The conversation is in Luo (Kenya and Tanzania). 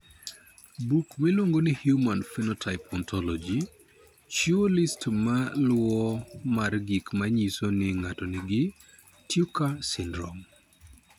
Buk miluongo ni Human Phenotype Ontology chiwo list ma luwoni mar gik ma nyiso ni ng'ato nigi Tucker syndrome.